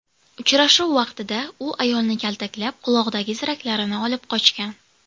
Uchrashuv vaqtida u ayolni kaltaklab, qulog‘idagi ziraklarni olib qochgan.